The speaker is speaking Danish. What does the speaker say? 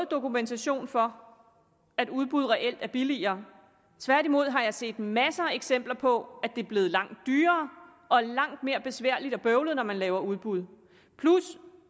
dokumentation for at udbud reelt er billigere tværtimod har jeg set masser af eksempler på at det er blevet langt dyrere og langt mere besværligt og bøvlet når man laver udbud plus